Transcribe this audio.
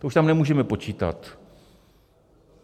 To už tam nemůžeme počítat.